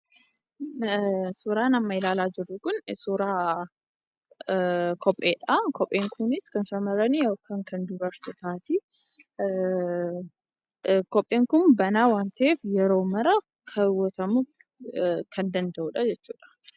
Suuraan amma ilaalaa jirru kun suuraa kopheedha. Kopheen kunis kan shamarranii yookaan kan dubartootaaati. Kopheen kun banaa waan ta’eef yeroo hunda kaawwatamuu kan danda’udha jechuudha.